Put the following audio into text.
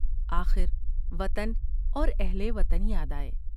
آخر وطن اور اہل وطن یا دآۓ ۔